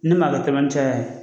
Ne m'a dɔ tɛmɛncaya